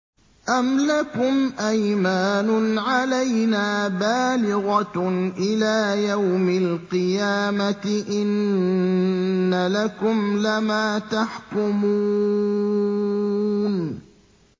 أَمْ لَكُمْ أَيْمَانٌ عَلَيْنَا بَالِغَةٌ إِلَىٰ يَوْمِ الْقِيَامَةِ ۙ إِنَّ لَكُمْ لَمَا تَحْكُمُونَ